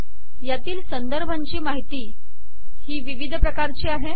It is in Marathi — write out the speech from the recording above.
यातील संदर्भांची माहिती ही विविध प्रकारची आहे